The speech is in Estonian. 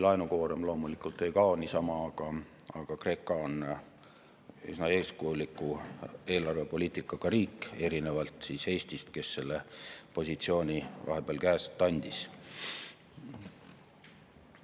Laenukoorem loomulikult ei kao niisama, aga Kreeka on üsna eeskujuliku eelarvepoliitikaga riik, erinevalt Eestist, kes positsiooni vahepeal käest andis.